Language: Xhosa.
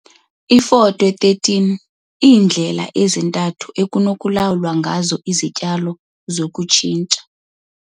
Iifoto 1 3- Iindlela ezintathu ekunokulawulwa ngazo izityalo zokutshintsha.